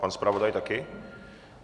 Pan zpravodaj taky?